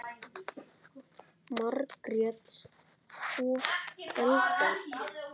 Margrét og Elfa.